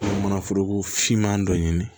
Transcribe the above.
Manaforoko finman dɔ ɲini